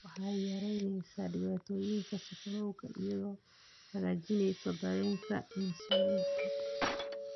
Waxay yaraynaysaa dhibaatooyinka sonkorowga iyadoo hagaajinaysa dareenka insulinta.